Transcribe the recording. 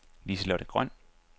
Liselotte Grøn